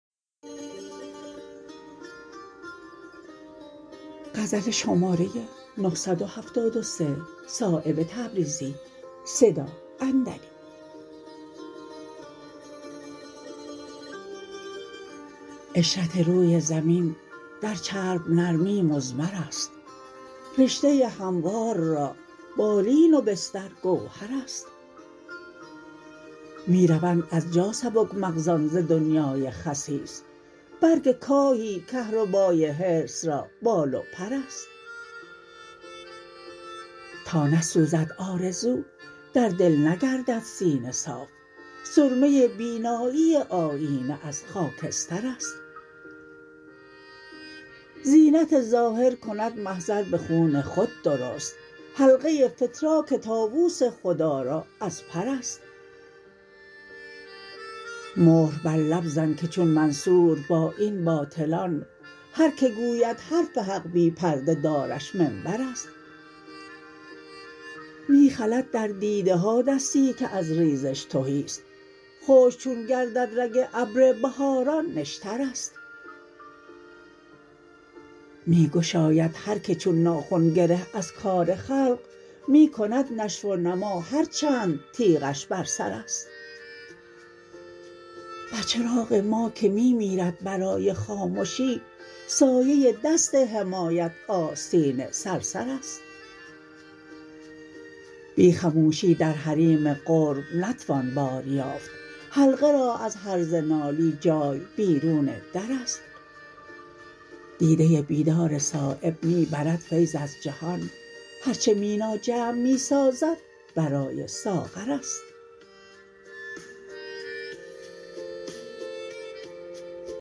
عشرت روی زمین در چرب نرمی مضمرست رشته هموار را بالین و بستر گوهرست می روند از جا سبک مغزان ز دنیای خسیس برگ کاهی کهربای حرص را بال و پرست تا نسوزد آرزو در دل نگردد سینه صاف سرمه بینایی آیینه از خاکسترست زینت ظاهر کند محضر به خون خود درست حلقه فتراک طاوس خودآرا از پرست مهر بر لب زن که چون منصور با این باطلان هر که گوید حرف حق بی پرده دارش منبرست می خلد در دیده ها دستی که از ریزش تهی است خشک چون گردد رگ ابر بهاران نشترست می گشاید هر که چون ناخن گره از کار خلق می کند نشو و نما هر چند تیغش بر سرست بر چراغ ما که می میرد برای خامشی سایه دست حمایت آستین صرصرست بی خموشی در حریم قرب نتوان بار یافت حلقه را از هرزه نالی جای بیرون درست دیده بیدار صایب می برد فیض از جهان هر چه مینا جمع می سازد برای ساغرست